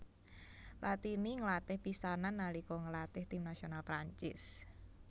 Platini nglatih pisanan nalika nglatih tim nasional Prancis